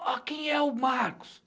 Ó, quem é o Marcos?